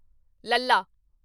ਲੱਲਾ